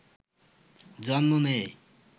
জন্ম নেয়